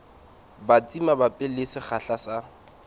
batsi mabapi le sekgahla sa